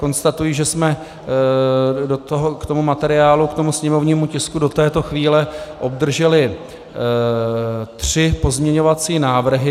Konstatuji, že jsme k tomu materiálu, k tomu sněmovnímu tisku, do této chvíle obdrželi tři pozměňovací návrhy.